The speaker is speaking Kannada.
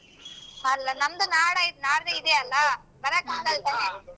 ಅಲ್ಲ ನಮ್ದು ನಾಡ್ ಐತ್ ನಾಡ್ದು ಇದೆ ಅಲ್ಲ ಬರಕ್ ಆಗಲ್ತಾನೇ.